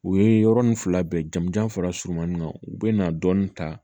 U ye yɔrɔnin fila bɛɛ jamujan fara surumanin kan u bɛ na dɔɔnin ta